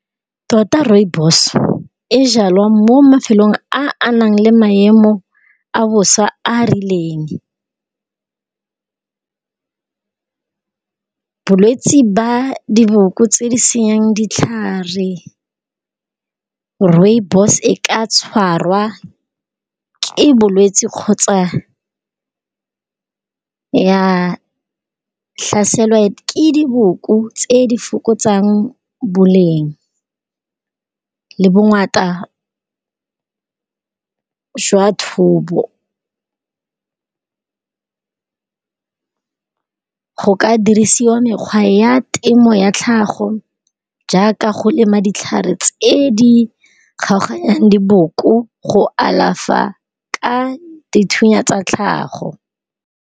Tota Rooibos, e jalwa mo mafelong a a nang le maemo a bosa a rileng. Bolwetsi ba diboko tse di senyang ditlhare, Rooibos e ka tshwarwa ke bolwetsi kgotsa ya tlhaselwa ke diboko tse di fokotsang boleng le bongata jwa thobo. Go ka dirisiwa mekgwa ya temo ya tlhago jaaka go lema ditlhare tsa ko di kgaoganyang diboko go alafa ka dithunya tsa tlhago.